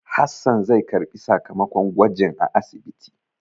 Hassan zai karɓi sakamakon gwajin a asibiti.